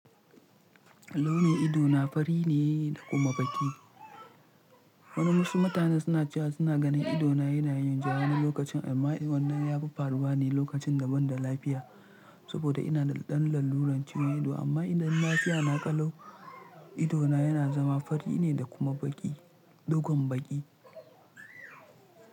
Launin ido na fari ne da kuma baƙi. Wasu mutane suna cewa suna ganin ido na yana yin ja wani lokacin amma wannan yafi faruwa ne lokacin da ban da lafiya saboda ina da ɗan lalluran ciwon ido amma idan lafiya na kalau ido na yana zama fari ne da kuma baƙi dogon baƙi.